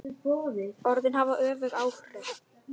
Orðin hafa öfug áhrif.